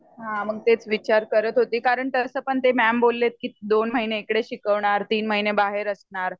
हा मग तेच विचार करत होते कारण तस पण ते मॅम बोलले दोन महिने इकडे शिकवणार तीन महिने बाहेर असणार.